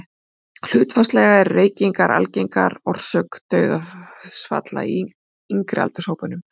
Hlutfallslega eru reykingar algengari orsök dauðsfalla í yngri aldurshópunum.